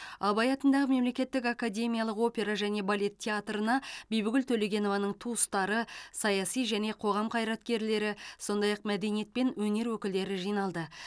абай атындағы мемлекеттік академиялық опера және балет театрына бибігүл төлегенованың туыстары саяси және қоғам қайраткерлері сондай ақ мәдениет пен өнер өкілдері жиналды